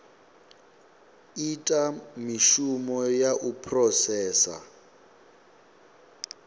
ita mishumo ya u phurosesa